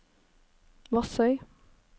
Vassøy